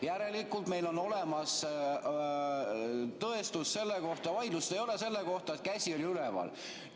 Järelikult, vaidlust ei ole selle kohta, et käsi oli üleval.